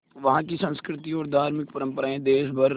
वहाँ की संस्कृति और धार्मिक परम्पराएं देश भर